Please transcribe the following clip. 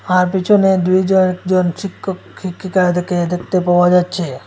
আর পিছনে দুইজন একজন শিক্ষক শিক্ষিকারে দেখে দেখতে পাওয়া যাচ্ছে।